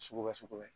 Sugu bɛ sugu bɛ